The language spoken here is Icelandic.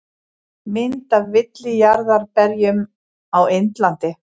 Mynd af villijarðarberjum á Indlandi.